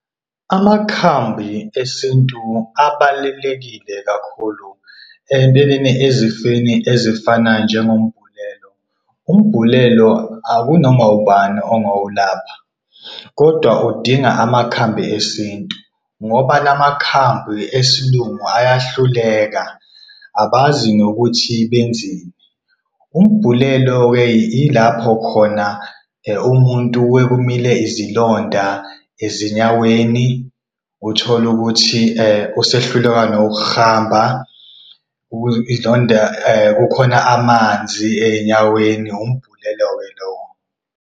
Amakhambi esintu abalulekile kakhulu empeleni ezifeni ezifana njengombhulelo. Umbhulelo akunoma wubani ongawulapha kodwa udinga ngamakhambi esintu ngoba la makhambi esilungu ayahluleka, abazi nokuthi benzeni. Umbhulelo-ke yilapho khona umuntu kuye kumile izilonda ezinyaweni utholukuthi, usehluleka nawukurhamba kukhona amanzi ey'nyaweni, wumbhulelo-ke lowo.